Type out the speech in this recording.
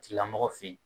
Tigilamɔgɔ fe yen